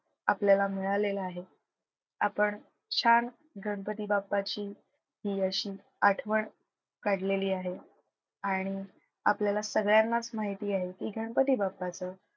आपल्याला मिळालेलं आहे. आपण छान गणपती बाप्पाची हि अशी आठवण काढलेली आहे आणि आपल्याला सगळ्यांनाच माहिती आहे की गणपती बाप्पाचं,